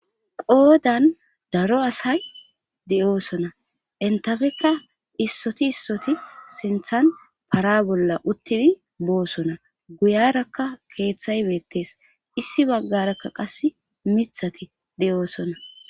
Qoodan daro asay de7oosona entafekka issoti issoti sinthan para bolla uttidi boosona guyarakka keeththay meettees issi baggarakka qass mithati de7oosona.